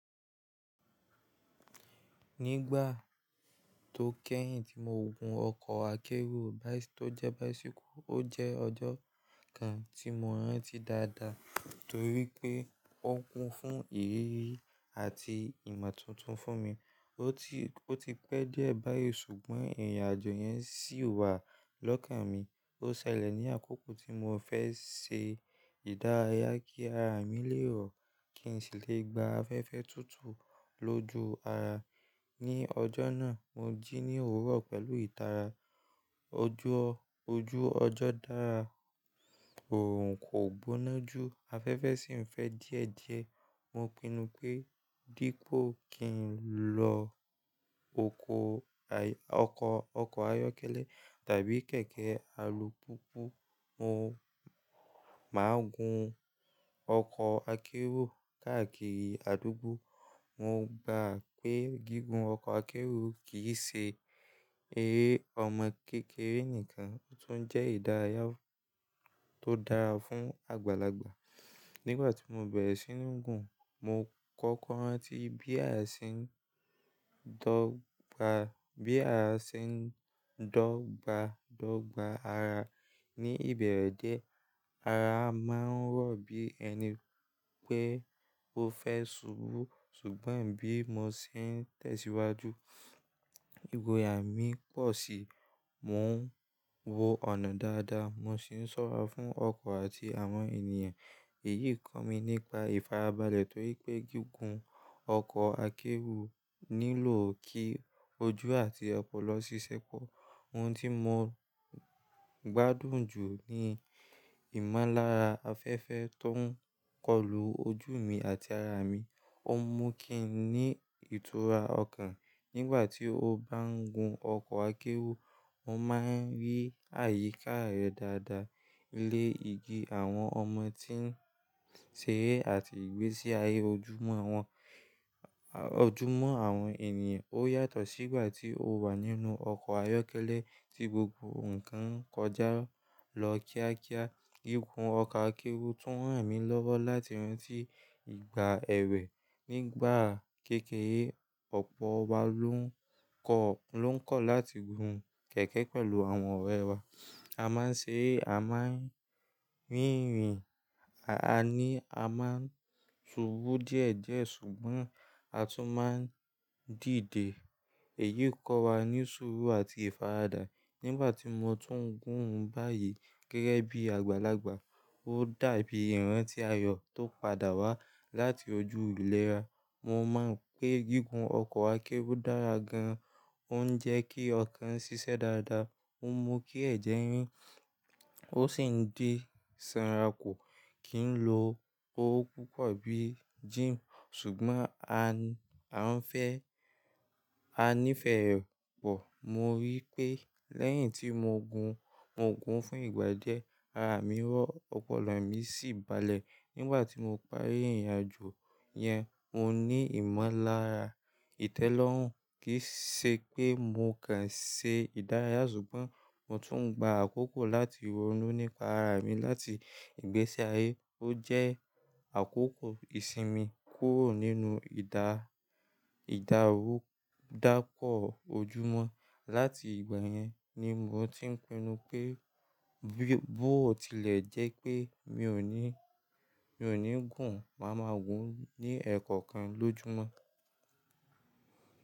Nígbà tó kẹ́yìn tí mo gun ọkọ̀ akéru tó jẹ́ báísíkọ̀, ó jẹ́ ọjọ́ kan tí mo rántí dáadáa torí pé ó kún fún ìrírí àti ìmọ̀ tuntun fún mi. Ó ti pẹ́ díẹ̀ báyìí ṣùgbọ́n ìrìn-àjò yẹn ṣì wà lọ́kàn mi. Ó ṣẹlẹ̀ ní àkókò tí mo fẹ́ ṣe ìdárayá kí ara mi lè rọ̀ kí n sì lè gba afẹ́fẹ́ tútù lójú ara. Ni ọjọ́ náà, mo jí ní òwúrọ̀ pẹ̀lú ìtara. Ojú ọjọ́ dára kò gbóná jù, afẹ́fẹ́ sì ń fẹ́ díẹ̀díẹ̀. Mo pinnu pé dípò kí n lọ oko ayọ́kẹ́lẹ́ tàbí kẹ̀kẹ́ alùpùpù, màá gun ọkọ̀ akérò káàkiri àdúgbò. Mo gbà pé gígùn ọkọ̀ akérò kì í ṣe eré ọmọ kékeré nìkan, ó tún jẹ́ ìdárayá tó dára fún àgbàlagbà. Nígbà tí mo bẹ̀rẹ̀ sí ní gun, mo kọ́kọ́ rántí bí ara ṣe ń dọ́gba dọ́gba ara. Ni ìbẹ̀rẹ̀ díẹ̀, ara máa ń rọ̀ bí ẹni pé ó fẹ́ ṣubú, ṣùgbọ́n bí mo ṣe ń tẹ̀síwájú, ìgboyà mí pọ̀ sí i, mo ń wó ọ̀nà dáadáa, mo sì ń sọ̀rọ̀ fún ọkọ̀ àti àwọn ènìyàn. Èyí kọ́ mi nípa ìfarabalẹ̀ torí pé gígùn ọkọ̀ akéru nílò kí ojú àti ọpọlọ ṣiṣẹ́ pọ̀. Ohun tí mo gbádùn jù ni ìmọ́lára afẹ́fẹ́ tó ń kọlù ojú mi àti ara mi. Ó mú kí n ní ìtura ọkàn. Nígbà tí o bá ń gun ọkọ̀ akérò, o máa rí àyíká re dáadáa, ilé igi, àwọn ọmọ tí ń ṣeré àti ìgbésí ayé ojúmọ́ àwọn ènìyàn. Ó yàtọ̀ sí ìgbà tí o wà nínú ọkọ̀ ayọ́kẹ́lẹ́ tí gbogbo nǹkan kọjá lọ kíákíá. Gígùn ọkọ̀ akérò tún ràn mí lọ́wọ́ láti rántí ìgbà èwe. Nígbà kékeré, ọ̀pọ̀ wa ló ń kọ̀ láti gun kẹ̀kẹ́ pẹ̀lú àwọn ọ̀rẹ́ wa. A máa ń ṣeré, a máa ń rìn ìrìn, àní a máa ń ṣubú díẹ̀díẹ̀ ṣùgbọ́n a tún máa ń dìde. Èyí kọ́ wa ní sùúrù àti ìfaradà. Nígbà tí mo tún ń gun báyìí gẹ́gẹ́ bí àgbàlagbà, ó dàbí ìran tí ayọ̀ tó padà wá láti ojú ìlera. Mo máa ń pe gígùn ọkọ̀ akérò dára gan, ó ń jẹ́ kí ọkàn ṣiṣẹ́ dáadáa, ó mú kí ẹ̀jẹ̀ rín, ó sì ń di sanra kù kí n lo owó púpọ̀ bíi gímù ṣùgbọ́n a nífẹ̀ẹ́ rẹ̀ pọ̀. Mo rí i pé lẹ́yìn tí mo gun fún ìgbà díẹ̀, ara mi rọ̀, ọpọlọ mi sì balẹ̀. Nígbà tí mo parí ìrìn-àjò yẹn, mo ní ìmọ́lára. Itẹ́lọ́rùn kì í ṣe pé mo kàn ṣe ìdárayá ṣùgbọ́n mo tún ń gba àkókò láti ronú nípa ara mi láti ìgbésí ayé. Ó jẹ́ àkókò ìsinmi kúrò nínú ìdárudápọ ojúmọ́. Lati ìgbà yẹn ni mo ti ń pinnu pé bí ó tilẹ̀ jẹ́ pé mi ò ní gun, màá máa gun ní ẹẹkọ̀kan lójúmọ́